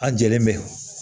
A jɛlen bɛ